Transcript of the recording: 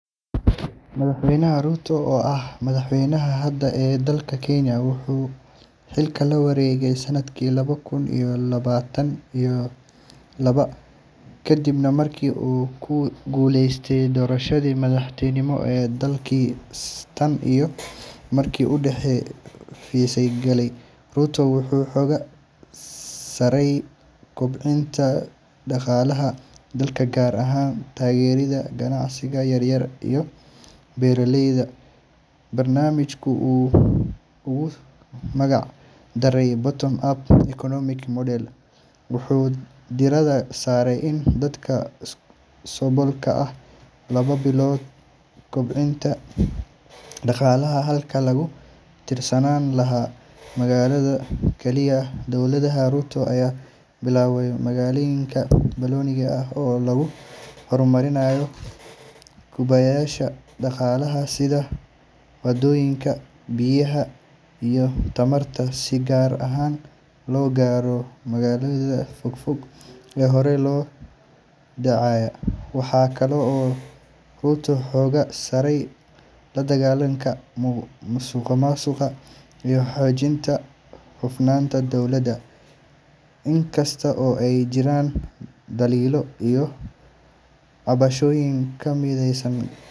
Madaxweyne William Ruto, oo ah madaxweynaha hadda ee dalka Kenya, wuxuu xilka la wareegay sanadkii laba kun iyo labaatan iyo laba, kadib markii uu ku guuleystay doorashadii madaxtinimo ee dalkaas. Tan iyo markii uu xafiiska galay, Ruto wuxuu xooga saaray kobcinta dhaqaalaha dalka, gaar ahaan taageeridda ganacsiga yar-yar iyo beeraleyda. Barnaamijka uu ugu magac daray Bottom-Up Economic Model wuxuu diiradda saaraya in dadka saboolka ah laga bilaabo kobcinta dhaqaalaha, halkii lagu tiirsanaan lahaa maalqabeennada kaliya. Dowladda Ruto ayaa bilaawday maalgelin ballaaran oo lagu horumarinayo kaabayaasha dhaqaalaha sida waddooyinka, biyaha, iyo tamarta, si gaar ahna loo gaaro deegaannada fogfog ee horay loo dayacay. Waxa kale oo uu Ruto xoogga saarayaa la dagaallanka musuqmaasuqa iyo hagaajinta hufnaanta dawladda, inkasta oo ay jiraan dhaliilo iyo cabashooyin ka imaanaya.